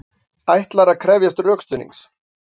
Ætlar að krefjast rökstuðnings